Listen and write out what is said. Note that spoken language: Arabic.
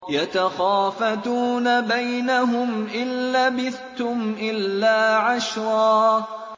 يَتَخَافَتُونَ بَيْنَهُمْ إِن لَّبِثْتُمْ إِلَّا عَشْرًا